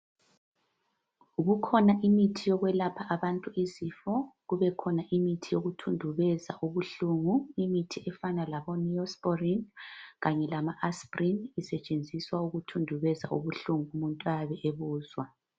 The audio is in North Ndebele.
Kukhona imithi yokwelapha abantu izifo, kubekhona imithi yokuthundubeza ubuhlungu, imithi efana laboNeosporin kanye lama Asprin isetshenziswa ukuthundubeza ubuhlungu umuntu ayabe ebuzwa.